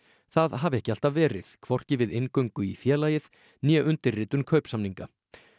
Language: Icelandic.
það hafi ekki alltaf verið hvorki við inngöngu í félagið né undirritun kaupsamninga